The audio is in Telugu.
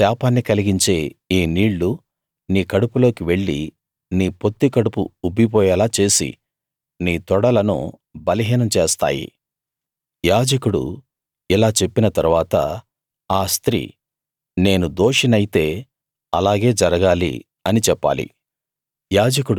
శాపాన్ని కలిగించే ఈ నీళ్ళు నీ కడుపులోకి వెళ్లి నీ పొత్తికడుపు ఉబ్బిపోయేలా చేసి నీ తొడలను బలహీనం చేస్తాయి యాజకుడు ఇలా చెప్పిన తరువాత ఆ స్త్రీ నేను దోషినైతే అలాగే జరగాలి అని చెప్పాలి